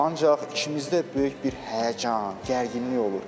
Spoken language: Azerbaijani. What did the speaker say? Ancaq işimizdə böyük bir həyəcan, gərginlik olur.